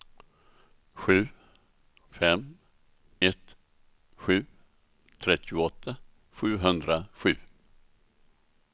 sju fem ett sju trettioåtta sjuhundrasju